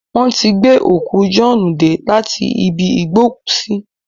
Wọ́n ti gbé òkú Jọ̀ọ́ọ́nù dé láti ibi ìgbókùúsí